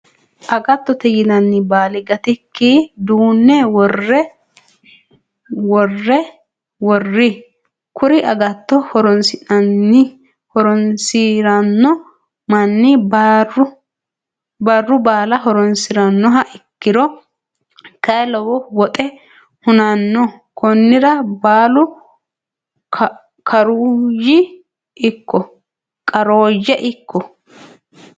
Agattote yinayii baali gattikki duunne worroyi. Kuri agatto horonsiranno manni barru baala horonsirannoha ikkiro kayii lowo woxe hunanno konnira baalu karuyi ikko.